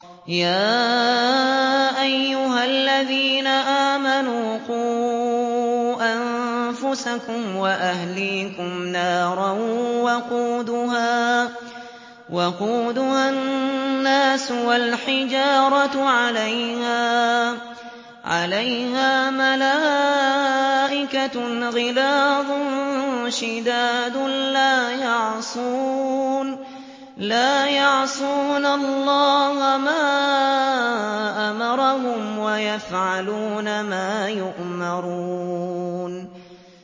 يَا أَيُّهَا الَّذِينَ آمَنُوا قُوا أَنفُسَكُمْ وَأَهْلِيكُمْ نَارًا وَقُودُهَا النَّاسُ وَالْحِجَارَةُ عَلَيْهَا مَلَائِكَةٌ غِلَاظٌ شِدَادٌ لَّا يَعْصُونَ اللَّهَ مَا أَمَرَهُمْ وَيَفْعَلُونَ مَا يُؤْمَرُونَ